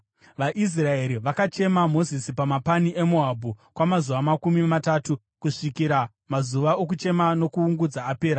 VaIsraeri vakachema Mozisi pamapani eMoabhu kwamazuva makumi matatu, kusvikira mazuva okuchema nokuungudza apera.